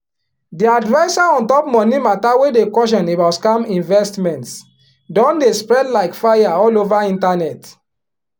di adviser on top money matter wey dey caution about scam investments don dey spread like fire all over internet